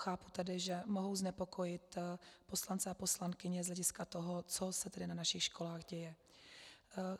Chápu tedy, že mohou znepokojit poslance a poslankyně z hlediska toho, co se tedy na našich školách děje.